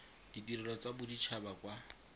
ditirelo tsa bodit haba kwa